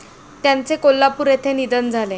त्यांचे कोल्हापूर येथे निधन झाले.